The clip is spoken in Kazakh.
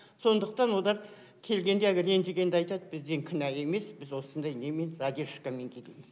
сондықтан олар келгенде әлгі ренжігенде айтады біз енді кінәлі емеспіз осындай немен задержакамен келеміз дейт